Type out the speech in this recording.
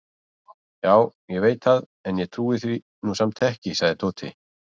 Já, ég veit það en ég trúi því nú samt ekki sagði Tóti.